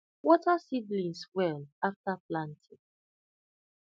water seedlings well after planting